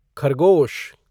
खरगोश